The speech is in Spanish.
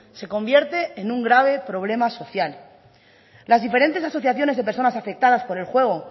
se convierte en un grave problema social las diferentes asociaciones de personas afectadas por el juego